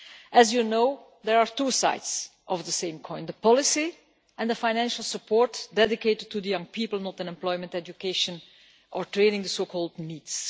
As you know, there are two sides of the coin the policy and the financial support dedicated to young people not in employment, education or training, the so called NEETs.